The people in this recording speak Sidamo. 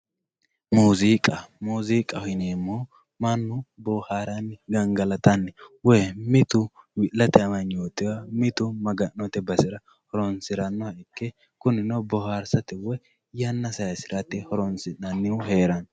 Muuziqa muuziqaho yineemohu mannu booharanni gaangaalatanni woyyi mittu wi'latye amagnotiwa mittu maaganotte baasira horonsiranoha ike kuninno booharsirate woyyi yanna sayisiratte horonsinanihu herano